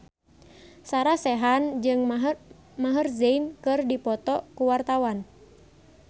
Sarah Sechan jeung Maher Zein keur dipoto ku wartawan